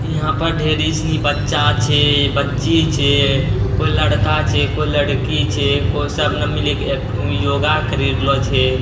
यहाँ पर ढेरी सनी बच्चा छे बच्ची छे कोई लड़का छे कोई लड़की छे। कोई सब न मिलके योगा करी रहलो छे।